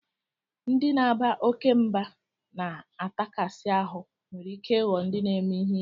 Ndị na-aba oke mba na atakasi ahu nwere ike ịghọ ndị na-eme ihe ike